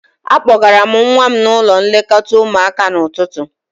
Akpọgara m nwa m n'ụlọ nlekọta ụmụaka n'ụtụtụ